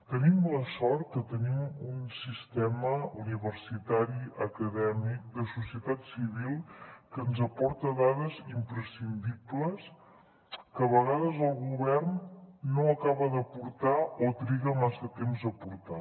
tenim la sort que tenim un sistema universitari acadèmic de societat civil que ens aporta dades imprescindibles que a vegades el govern no acaba d’aportar o triga massa temps a aportar